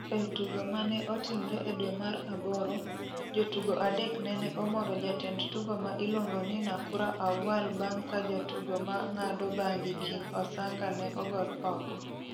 E tugo mane otimre e dwe mar aboro, jotugo adek nene omoro jatend tugo ma iluongo ni Nakura Auwal bang' ka jatugo ma ng'ado bangi King Osanga ne ogol oko.